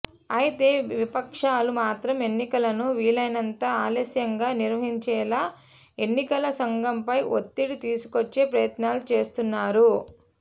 అయితే విపక్షాలు మాత్రం ఎన్నికలను వీలైనంత ఆలస్యంగా నిర్వహించేలా ఎన్నికల సంఘంపై ఒత్తిడి తీసుకొచ్చే ప్రయత్నాలు చేస్తున్నారు